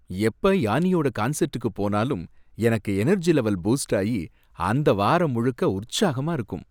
எப்ப யானியோட கன்செர்டுக்கு போனாலும் எனக்கு எனர்ஜி லெவல் பூஸ்டாயி அந்த வாரம் முழுக்க உற்சாகமா இருக்கும்.